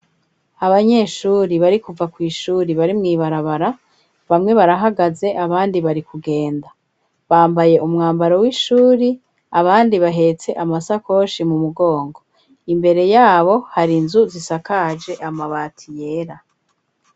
Abanyeshuri, bari kuva kw'ishuri, bari mw'ibarabara; bamwe barahagaze, abandi bari kugenda; bambaye umwambaro w'ishuri; abandi bahetse amasakoshi, mu mugongo; imbere y'abo, hari inzu, zisakaje amabati yera.